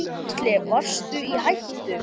Gísli: Varstu í hættu?